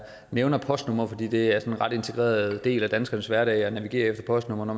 nævner postnumre fordi det er en ret integreret del af danskernes hverdag at navigere efter postnumre når